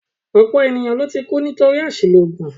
Ọ̀pọ̀ ènìyàn ló ti kú nítorí àṣìlò oògùn